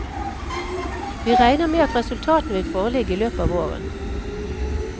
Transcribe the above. Vi regner med at resultatene vil foreligge i løpet av våren.